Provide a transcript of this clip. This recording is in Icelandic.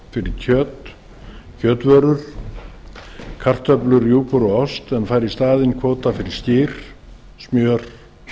fyrir kjöt kjötvörur kartöflur og ost en fær í staðinn kvóta fyrir skyr smjör